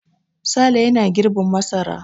Sale yana girbin masara.